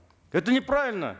это неправильно